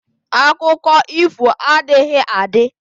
Akụkọ ifo adịghị adị